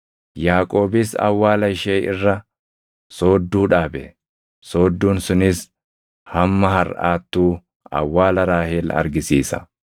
Yaaqoobis awwaala ishee irra soodduu dhaabe; soodduun sunis hamma harʼaattuu awwaala Raahel argisiisa.